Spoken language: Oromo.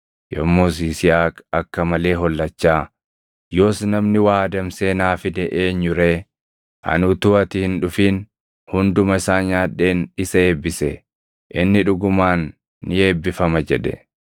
Yommus Yisihaaq akka malee hollachaa, “Yoos namni waa adamsee naa fide eenyu ree? Ani utuu ati hin dhufin hunduma isaa nyaadheen isa eebbise; inni dhugumaan ni eebbifama!” jedhe.